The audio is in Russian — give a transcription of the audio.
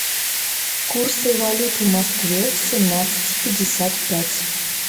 курсы валют в москве семнадцать пятьдесят пять